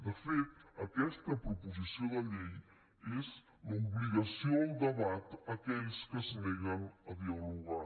de fet aquesta proposició de llei és l’obligació al debat a aquells que es neguen a dialogar